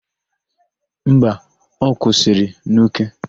Mba, ọ kwụsịrị n'Uke.